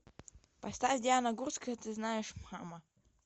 поставь диана гурцкая ты знаешь мама